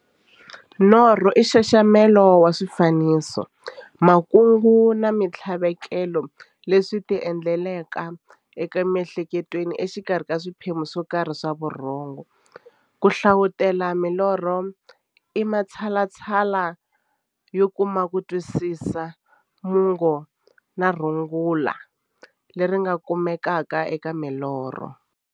Norho i nxaxamelo wa swifaniso, makungu na minthlaveko leswi ti endlekelaka emiehleketweni exikarhi ka swiphemu swokarhi swa vurhongo. Ku hlavutela milorho i matshalatshala yo kuma kutwisisa mungo na rungula leri nga kumekaka eka milorho.